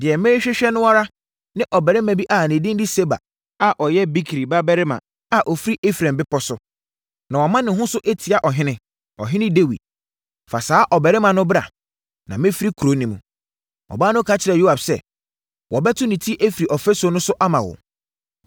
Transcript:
Deɛ merehwehwɛ no ara ne ɔbarima bi a ne din de Seba a ɔyɛ Bikri babarima a ɔfiri Efraim bepɔ so, na wama ne ho so atia ɔhene, ɔhene Dawid. Fa saa ɔbarima no bra, na mɛfiri kuro no mu.” Ɔbaa no ka kyerɛɛ Yoab sɛ, “Wɔbɛto ne ti afiri ɔfasuo no so ama wo.”